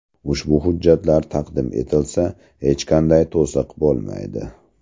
Ushbu hujjatlar taqdim etilsa, hech qanday to‘siq bo‘lmaydi.